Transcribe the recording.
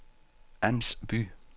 Ans By